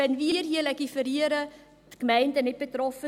Wenn wir hier legiferieren, sind die Gemeinden nicht betroffen.